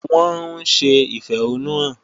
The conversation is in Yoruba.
Wọ́n ń ṣe ìfẹ̀hónúhàn.